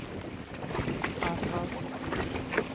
advarer